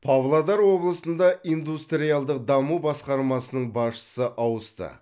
павлодар облысында индустриалдық даму басқармасының басшысы ауысты